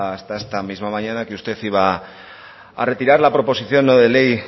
hasta esta misma mañana que usted iba a retirar la proposición no de ley